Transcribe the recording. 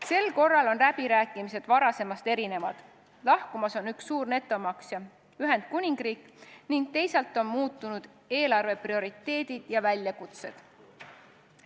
Sel korral on läbirääkimised varasemast erinevad, lahkumas on üks suur netomaksja, Ühendkuningriik, ning teisalt on muutunud eelarve prioriteedid ja väljakutsed.